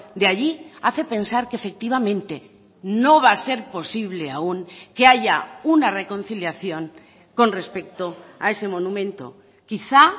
de allí hace pensar que efectivamente no va a ser posible aún que haya una reconciliación con respecto a ese monumento quizá